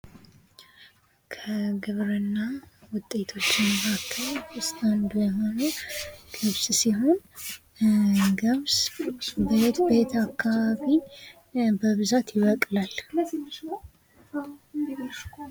ከ ግብርና ውጤቶችን መካከል ውስጥ አንዱ የሆነው ገብስ ሲሆን፤ የገብስ በየትኛው አካባቢ በብዛት ይበቅላል?